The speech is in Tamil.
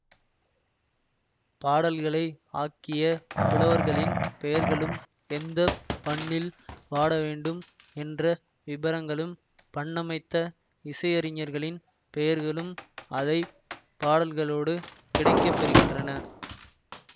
பாடல்களை ஆக்கிய புலவர்களின் பெயர்களும் எந்த பண்ணில் பாடவேண்டும் என்ற விபரங்களும் பண்ணமைத்த இசையறிஞர்களின் பெயர்களும் அதை பாடல்களோடு கிடைக்கப்பெறுகின்றன